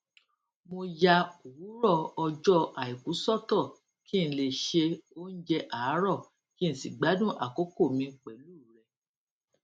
mo ya òwúrò ọjó aiku sọtọ kí n lè ṣe oúnjẹ àárò kí n sì gbádùn akoko mi pẹlu rẹ